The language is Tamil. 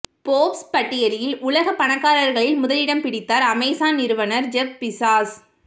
போர்ப்ஸ் பட்டியலில் உலக பணக்காரர்களில் முதலிடம் பிடித்தார் அமேசான் நிறுவனர் ஜெப் பீசாஸ்